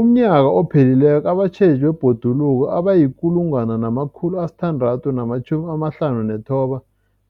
UmNnyaka ophelileko abatjheji bebhoduluko abayi-1 659